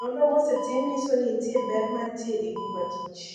Nonro mosetim nyiso ni nitie ber ma nitie e ngima kich.